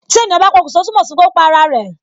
Tí ènìyàn bá pokun sọ, túmọ̀ sí pé ó pa ara rẹ